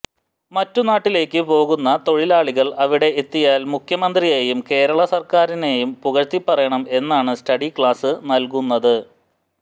മറ്റു നാട്ടിലേക്ക് പോകുന്ന തൊഴിലാളികൾ അവിടെ എത്തിയാൽ മുഖ്യമന്ത്രിയെയും കേരള സർക്കാറിനെയും പുകഴ്ത്തിപ്പറയണം എന്നാണ് സ്റ്റഡി ക്ലാസ് നൽകുന്നത്